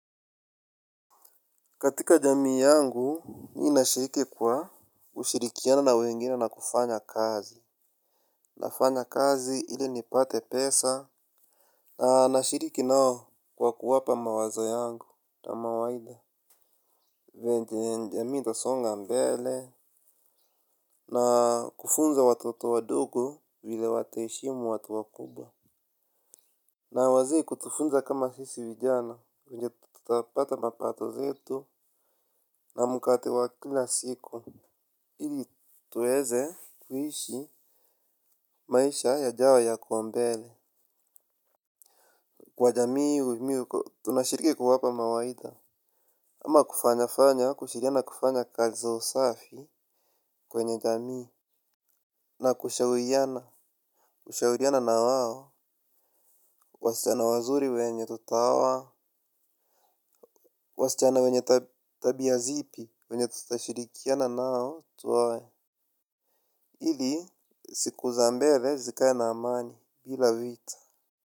Katika jamii yangu, mii nashiriki kwa kushirikiana na wengine na kufanya kazi. Nafanya kazi ili nipate pesa. Na nashiriki nao kwa kuwapa mawazo yangu na mawaidha. Venye njamii tasonga mbele. Na kufunza watoto wadogo vile wataeshimu watu wa kubwa. Na waze kutufunza kama sisi vijana nje tutapata mapato zetu na mkate wa kila siku. Ili tuweze kuhishi maisha ya jayo ya kuambele kwa jamii miu tunashiriki kuwapa mawaidha. Ama kufanya fanya kushiriana kufanya kazi za usafi kwenye jamii. Na kushawiyana kushauriana na waho. Wasichana wazuri wenye tutaoa. Wasichana wenye tabia zipi wenye tutashirikiana nao tuwe ili siku za mbele zikaye na amani bila vita.